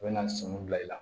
U bɛ na sɔmin bila i la